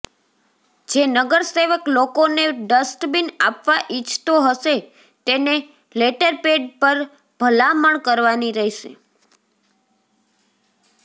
જે નગરસેવક લોકોને ડસ્ટબીન આપવા ઈચ્છતો હશે તેને લેટરપેડ પર ભલામણ કરવાની રહેશે